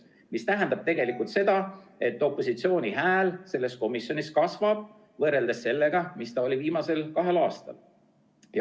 See tähendab tegelikult seda, et opositsiooni hääl selles komisjonis kasvab võrreldes sellega, mis ta oli viimasel kahel aastal.